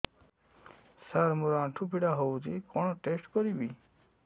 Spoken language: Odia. ସାର ମୋର ଆଣ୍ଠୁ ପୀଡା ହଉଚି କଣ ଟେଷ୍ଟ କରିବି